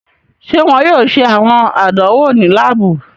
Ṣe wọn yoo ṣe awọn àdánwò ni laabu?